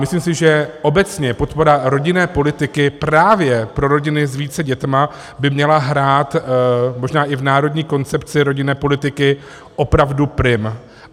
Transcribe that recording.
Myslím si, že obecně podpora rodinné politiky právě pro rodiny s více dětmi by měla hrát možná i v národní koncepci rodinné politiky opravdu prim.